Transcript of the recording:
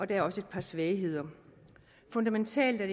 der er også et par svagheder fundamentalt er